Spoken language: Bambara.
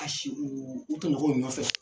Ka si u, u tɔɲɔgɔnw nɔfɛ